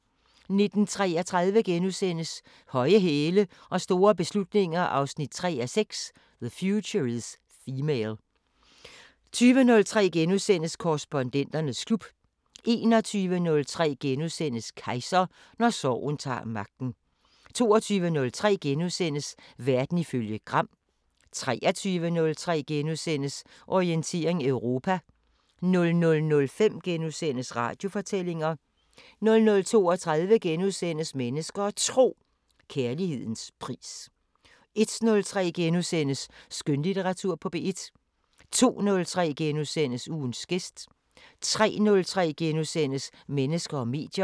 19:33: Høje hæle og store beslutninger 3:6 – The future is female * 20:03: Korrespondenternes klub * 21:03: Kejser: Når sorgen tager magten * 22:03: Verden ifølge Gram * 23:03: Orientering Europa * 00:05: Radiofortællinger * 00:32: Mennesker og Tro: Kærlighedens pris * 01:03: Skønlitteratur på P1 * 02:03: Ugens gæst * 03:03: Mennesker og medier *